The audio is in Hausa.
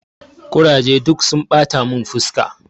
Kuraje duk sun ɓata mun fuska.